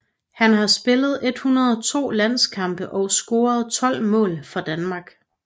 Han har spillet 102 landskampe og scoret 12 mål for Danmark